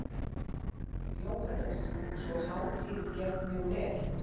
Jóhannes: Sú hátíð gekk mjög vel?